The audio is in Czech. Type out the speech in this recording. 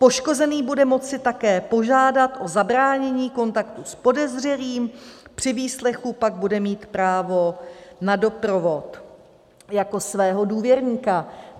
Poškozený bude moci také požádat o zabránění kontaktu s podezřelým, při výslechu pak bude mít právo na doprovod jako svého důvěrníka.